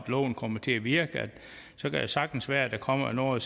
loven kommer til at virke at så kan det sagtens være at der kommer nogle og